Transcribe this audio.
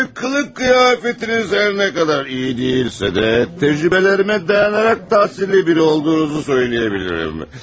Ə, qılıq qiyafətiniz hər nə qədər iyi deyilsə də, təcrübələrimə dayanaraq təhsilli biri olduğunuzu söyləyə bilirəm.